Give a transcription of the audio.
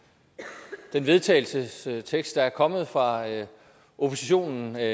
jeg vedtagelsestekst der er kommet fra oppositionen jeg